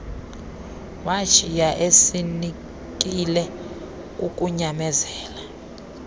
washiya esinekile kukunyamezela